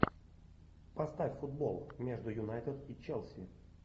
поставь футбол между юнайтед и челси